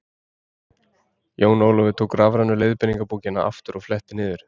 Jón Ólafur tók rafrænu leiðbeiningarbókina aftur og fletti niður.